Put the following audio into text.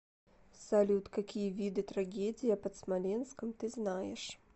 салют какие виды трагедия под смоленском ты знаешь